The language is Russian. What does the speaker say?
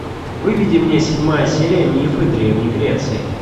выведи мне седьмая серия мифы древней греции